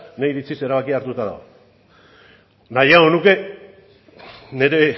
nire iritziz erabakia hartuta dago nahiago nuke nire